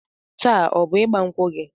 Taa ọ bụ ịgba nkwụ gị?